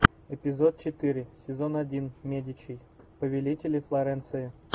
эпизод четыре сезон один медичи повелители флоренции